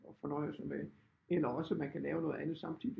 At fornøje sig med eller også man kan lave noget andet samtidigt